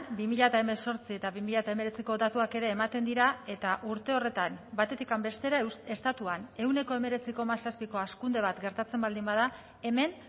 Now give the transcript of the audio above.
bi mila hemezortzi eta bi mila hemeretziko datuak ere ematen dira eta urte horretan batetik bestera estatuan ehuneko hemeretzi koma zazpiko hazkunde bat gertatzen baldin bada hemen